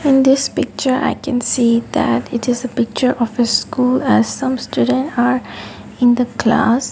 in this picture i can see that it is a picture of a school as some student are in the class.